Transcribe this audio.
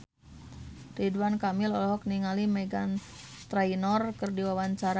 Ridwan Kamil olohok ningali Meghan Trainor keur diwawancara